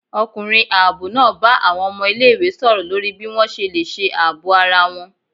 Ọkunrín aabọ náá bá awọn ọmọ ìlé-ìwé sọrọ lorí bi wọn ṣe le ṣe aabọ ará wọn